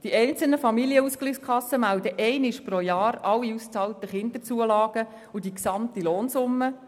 Die einzelnen Familienausgleichskassen melden lediglich einmal pro Jahr alle ausbezahlten Kinderzulagen und die gesamten Lohnsummen.